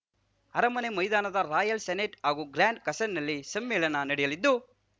ಅರಮನೆ ಮೈದಾನದ royal senate ಹಾಗೂ ಗ್ರ್ಯಾಂಡ್‌ ಕಸಲ್‌ನಲ್ಲಿ ಸಮ್ಮೇಳನ ನಡೆಯಲಿದ್ದು